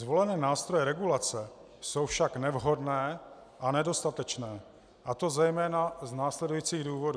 Zvolené nástroje regulace jsou však nevhodné a nedostatečné, a to zejména z následujících důvodů.